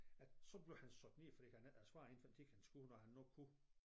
At så blev han sat ned fordi han ikke havde svaret inden tiden han skulle når han nu kunne